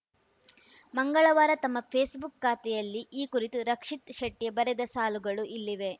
ಮಂಗಳವಾರ ತಮ್ಮ ಫೇಸ್‌ಬುಕ್‌ ಖಾತೆಯಲ್ಲಿ ಈ ಕುರಿತು ರಕ್ಷಿತ್‌ ಶೆಟ್ಟಿಬರೆದ ಸಾಲುಗಳು ಇಲ್ಲಿವೆ